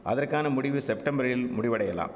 அதற்கான முடிவு செப்டம்பரில் முடிவடையலாம்